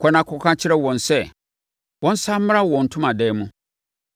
“Kɔ na kɔka kyerɛ wɔn sɛ, wɔnsane mmra wɔn ntomadan mu.